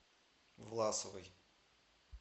власовой